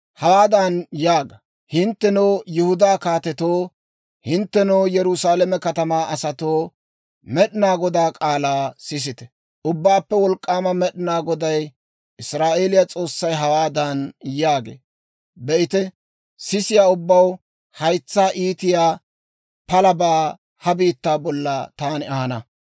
Hawaadan yaaga; ‹Hinttenoo Yihudaa kaatetoo, hinttenoo Yerusaalame katamaa asatoo, Med'inaa Godaa k'aalaa sisite! Ubbaappe Wolk'k'aama Med'inaa Goday, Israa'eeliyaa S'oossay hawaadan yaagee; «Be'ite, sisiyaa ubbaw haytsaw iitiyaa palabaa ha biittaa bolla taani ahana.